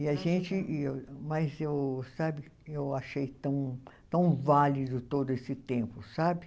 E a gente, e eu, mas eu, sabe, eu achei tão tão válido todo esse tempo, sabe?